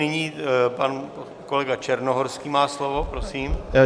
Nyní pan kolega Černohorský má slovo, prosím.